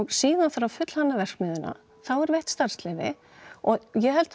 síðan þarf að fullhanna verksmiðjuna þá er veitt starfsleyfi og ég held